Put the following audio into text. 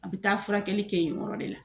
A bɛ taa furakɛli kɛ yen yɔrɔ de la.